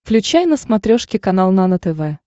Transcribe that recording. включай на смотрешке канал нано тв